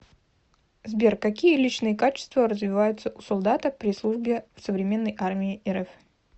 сбер какие личные качества развиваются у солдата при службе в современной армии рф